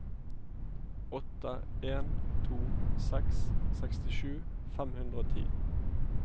åtte en to seks sekstisju fem hundre og ti